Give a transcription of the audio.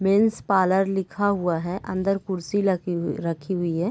Mains parlour लिखा हुआ है अंदर कुर्सी लगी रखी हुई है।